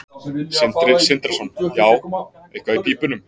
Sindri Sindrason: Já, eitthvað í pípunum?